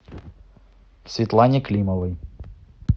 светлане климовой